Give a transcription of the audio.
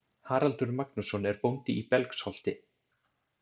Haraldur Magnússon er bóndi í Belgsholti.